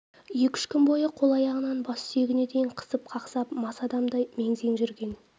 екі-үш күн бойы қол-аяғынан бас сүйегіне дейін қысып қақсап мас адамдай мең-зең жүрген